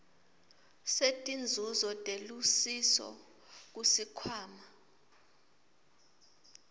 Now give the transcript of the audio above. setinzuzo telusiso kusikhwama